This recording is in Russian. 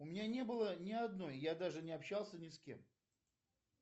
у меня не было ни одной я даже не общался ни с кем